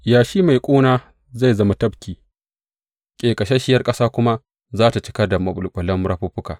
Yashi mai ƙuna zai zama tafki, ƙeƙasasshiyar ƙasa kuma za tă cika da maɓulɓulan rafuffuka.